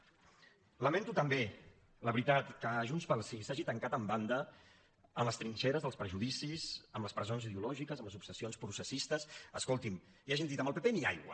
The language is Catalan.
lamento també la veritat que junts pel sí s’hagi tancat en banda en les trinxeres dels prejudicis en les presons ideològiques en les obsessions processistes escoltin i hagin dit al pp ni aigua